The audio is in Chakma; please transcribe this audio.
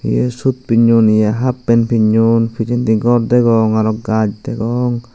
hiye sut pinnon hiye happen pinnon pijedi gor degong araw gaz degong.